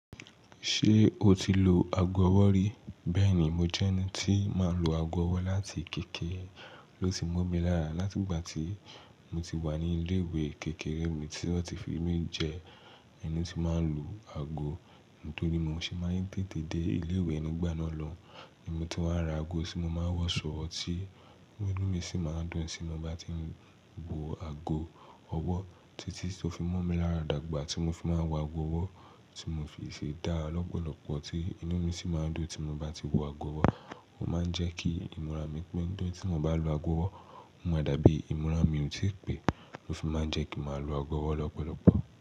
Ṣé o ti lo ago ọwọ́ rí? Bẹ́ẹ̀ni, mo jẹ́ ẹni tí máa ń lo ago ọwọ́ láti kékeré, ló ti mú mi lára. Láti ìgbà tí mo ti wà ní ilé-ìwé kékeré mi tí wọ́n ti fi mí jẹ ẹni tí máa ń lu ago, nítorí mo ṣe máa ń tètè dé ilé-ìwé nigbà náà lọun, ni mo ti wáa ra ago tí mo máa ń wọṣọ, ọtí nú mi sì máa ń dùn tí mo bá ti ń bọ ago ọwọ́. Títí tó fi mú mi lára dàgbà tí mo fi máa ń wọ ago ọwọ́ tí mo fi sì dá lọ́pọ̀lọpọ̀ tí inú mi sì máa ń dùn tí mo bá ti wọ ago ọwọ́. Ó máa ń jẹ́ kí ìmúra mi pé ntori ti mo bá ń lo ago ọwọ́, ó máa dàbí ìmúra mi ò tí pẹ́, ó fi máa ń jẹ́ kí màá lo ago ọwọ́ lọ́pọ̀lọpọ̀.